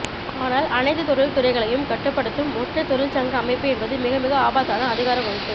ஆனால் அனைத்துத் தொழில்துறைகளையும் கட்டுப்படுத்தும் ஒற்றைத்தொழிற்சங்க அமைப்பு என்பது மிகமிக ஆபத்தான அதிகாரக்குவிப்பு